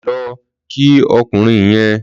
Lọ kí ọkùnrin yèn